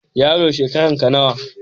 Yaro, shekaranka nawa?